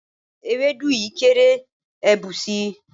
Ewédú yìí kéré, ẹ bù si.